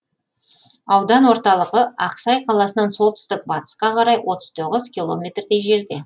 аудан орталығы ақсай қаласынан солтүстік батысқа қарай отыз тоғыз километрдей жерде